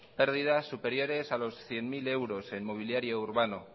pérdidas superiores a los cien mil euros en mobiliario urbano